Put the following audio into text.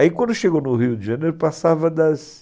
Aí quando chegou no Rio de Janeiro, passava das...